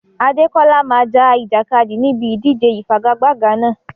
Adekola máa ja ìjàkadì níbi ìdíje ìfigagbága náà.